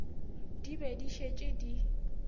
di be di šetše di